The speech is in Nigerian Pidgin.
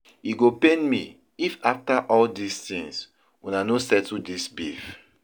E go pain me if after all dis things una no settle dis beef